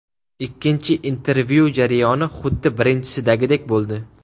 Ikkinchi intervyu jarayoni xuddi birinchisidagidek bo‘ldi.